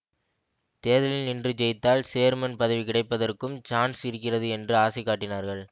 தேர்தலில் நின்று ஜெயித்தால் சேர்மன் பதவி கிடைப்பதற்கும் சான்ஸ் இருக்கிறது என்று ஆசை காட்டினார்கள்